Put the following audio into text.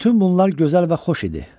Bütün bunlar gözəl və xoş idi.